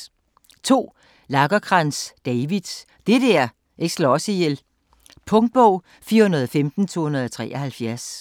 Lagercrantz, David: Det der ikke slår os ihjel Punktbog 415273